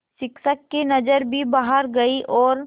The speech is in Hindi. शिक्षक की नज़र भी बाहर गई और